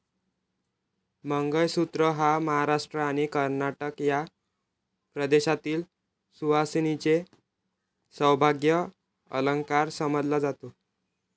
मंगळसूत्र हा महाराष्ट्र आणि कर्नाटक या प्रदेशातील सुवासिनींचे सौभाग्य अलंकार समजला जातो.